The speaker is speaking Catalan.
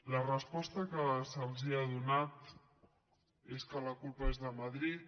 la resposta que se’ls ha donat és que la culpa és de madrid